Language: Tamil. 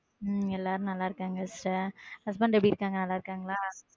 உம் எல்லாரும் நல்லா இருக்காங்க sister husband எப்படி இருக்காங்க நல்லா இருக்காங்களா?